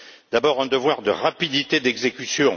D'abord, un devoir de rapidité d'exécution